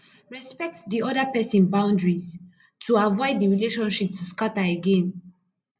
respect di other person boundaries to avoid di relationship to scatter again